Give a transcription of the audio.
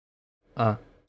а